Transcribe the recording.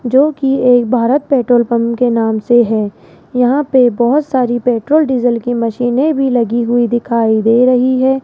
जो की एक भारत पेट्रोल पंप के नाम से है यहां पे बहोत सारी पेट्रोल डीजल की मशीने भी लगी हुई दिखाई दे रही है।